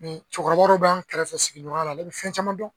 Nin cɔkɔrɔba bɔ b'an kɛrɛfɛ sigiɲɔgɔnya la ale be fɛn caman dɔn